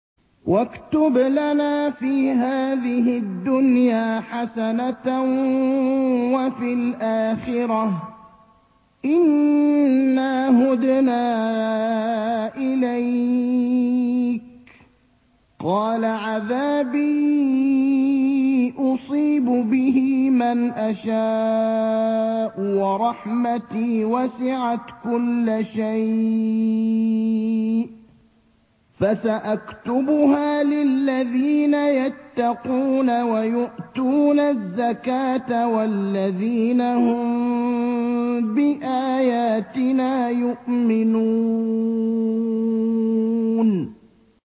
۞ وَاكْتُبْ لَنَا فِي هَٰذِهِ الدُّنْيَا حَسَنَةً وَفِي الْآخِرَةِ إِنَّا هُدْنَا إِلَيْكَ ۚ قَالَ عَذَابِي أُصِيبُ بِهِ مَنْ أَشَاءُ ۖ وَرَحْمَتِي وَسِعَتْ كُلَّ شَيْءٍ ۚ فَسَأَكْتُبُهَا لِلَّذِينَ يَتَّقُونَ وَيُؤْتُونَ الزَّكَاةَ وَالَّذِينَ هُم بِآيَاتِنَا يُؤْمِنُونَ